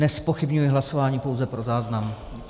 Nezpochybňuji hlasování, pouze pro záznam.